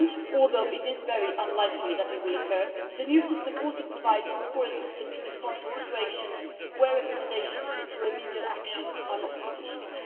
Although it is very unlikely that these will occur, the new system also provides for a system to respond to situations where recommendations for remedial action are not sufficient.